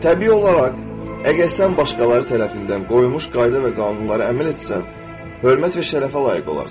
Təbii olaraq, əgər sən başqaları tərəfindən qoyulmuş qayda və qanunlara əməl etsən, hörmət və şərəfə layiq olarsan.